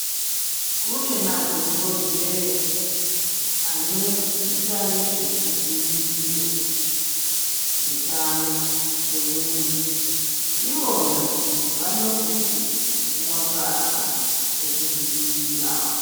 Kune madhokodheya anoita nezvekudzivirira utano hwemuntu. Ivona vanosise kupuwe mbahla dzekuzvidzivirirswo.